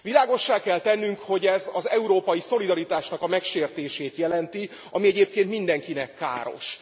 Világossá kell tennünk, hogy ez az európai szolidaritásnak a megsértését jelenti, ami egyébként mindenkinek káros.